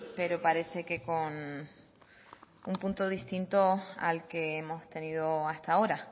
pero parece que con un punto distinto al que hemos tenido hasta ahora